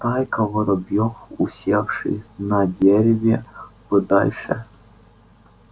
стайка воробьёв усевшись на дереве подальше